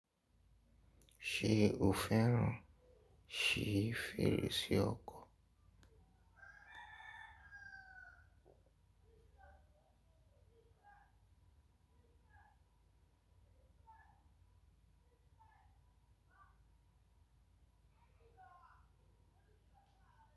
Ṣe o fẹ́ràn ṣífi èrò sí ọkọ̀?